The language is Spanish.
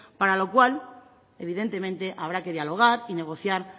para lo cual evidentemente habrá que dialogar y negociar